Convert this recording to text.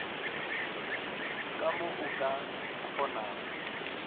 ka mo o ka kgonago